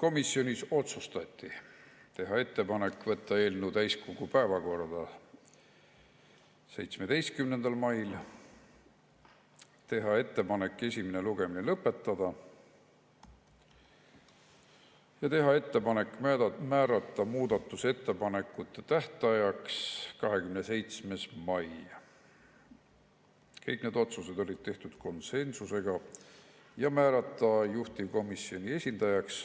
Komisjonis otsustati teha ettepanek võtta eelnõu täiskogu päevakorda 17. mail, teha ettepanek esimene lugemine lõpetada ja teha ettepanek määrata muudatusettepanekute tähtajaks 27. mai, kõik need otsused olid tehtud konsensusega, ja määrata juhtivkomisjoni esindajaks